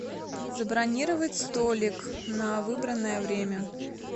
забронировать столик на выбранное время